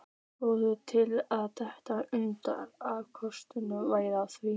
Góðar til að deyja undir, ef kostur væri á því.